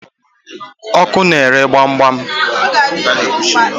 Oko na-ere gbam gbam